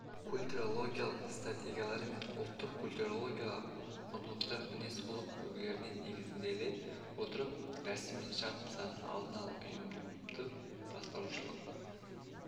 культурологиялық стратегиялары мен ұлттық-культурологиялық құндылықтар мінез-құлық үлгілеріне негізделе отырып рәсім мен шарт нысанын алдын-ала ұйымдық-басқарушылық